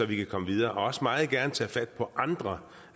vi kan komme videre og også meget gerne tage fat på andre